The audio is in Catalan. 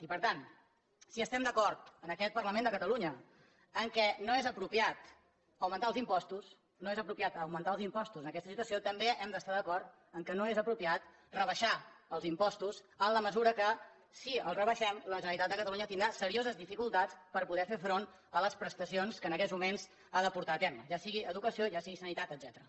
i per tant si estem d’acord en aquest parlament de catalunya en el fet que no és apropiat augmentar els impostos no és apropiat augmentar els impostos en aquesta situació també hem d’estar d’acord en el fet que no és apropiat rebaixar els impostos en la mesura que si els rebaixem la generalitat de catalunya tindrà serioses dificultats per poder fer front a les prestacions que en aquests moments ha de portar a terme ja sigui educació ja sigui sanitat etcètera